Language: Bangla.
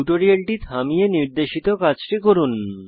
টিউটোরিয়ালটি থামিয়ে নির্দেশিত কাজটি করুন